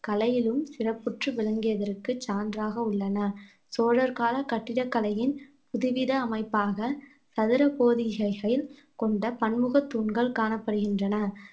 கலையிலும் சிறப்புற்று விளங்கியதற்கு சான்றாக உள்ளன சோழர்கால கட்டிடக்கலையின் புதுவித அமைப்பாக சதுர கோதிகைகளில் கொண்ட பன்முகத் தூண்கள் காணப்படுகின்றன